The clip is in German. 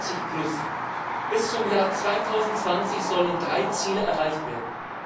50. Bis zum Jahr 2020 sollen drei Ziele erreicht werden.